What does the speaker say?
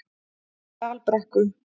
Dalbrekku